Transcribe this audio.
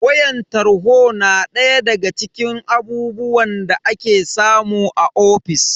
Wayan talho na daya daga cikin abubuwan da ake samu a ofis.